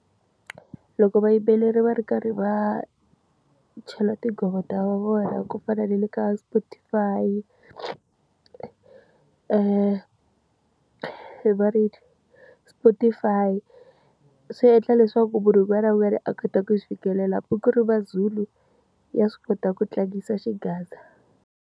Loko vayimbeleri va ri karhi va chela tinghoma vona ku fana na le ka Spotify-i, Spotify, swi endla leswaku munhu un'wana na un'wana a kota ku swi fikelela. Hambi ku ri maZulu ya swi kota ku tlangisa xigaza.